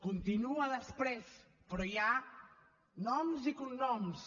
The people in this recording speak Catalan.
continua després però hi ha noms i cognoms